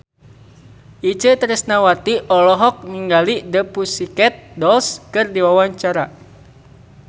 Itje Tresnawati olohok ningali The Pussycat Dolls keur diwawancara